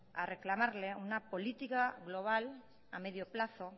a reclamarle una política global a medio plazo